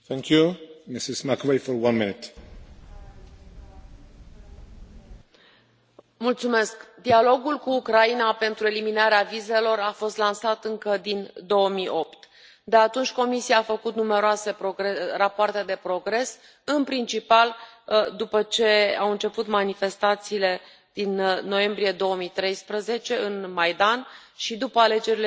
Domnule președinte, dialogul cu Ucraina pentru eliminarea vizelor a fost lansat încă din 2008. De atunci, Comisia a făcut numeroase rapoarte de progres, în principal după ce au început manifestațiile din noiembrie 2013 în Maidan și după alegerile din